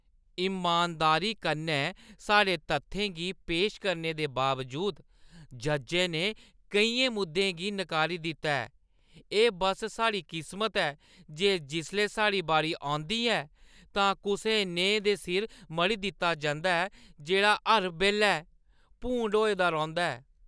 इमानदारी कन्नै साढ़े तत्थें गी पेश करने दे बावजूद, जज्जै ने केइयें मुद्दें गी नकारी दित्ता ऐ। एह् बस साढ़ी किस्मत ऐ जे जिसलै साढ़ी बारी औंदी ऐ तां कुसै नेहे दे सिर मढ़ी दित्ता जंदा ऐ जेह्‌ड़ा हर बेल्लै भूंड होए दा रौंह्‌दा ऐ।